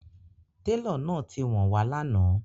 Tẹlọ náà ti wá wọn wà̀ lànà